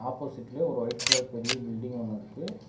ஆப்போசிட்ல ஒரு white colour பெரிய பில்டிங் ஒன்னு இருக்கு.